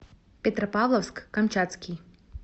петропавловск камчатский